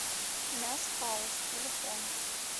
мяс хаус телефон